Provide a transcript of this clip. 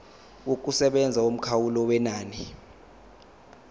yokusebenza yomkhawulo wenani